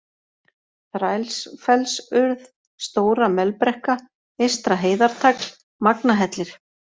Þrælsfellsurð, Stóra-Melbrekka, Eystra-Heiðartagl, Magnahellir